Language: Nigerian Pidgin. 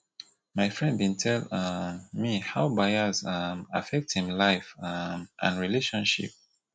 my friend bin tell um me how bias um affect im life um and relationship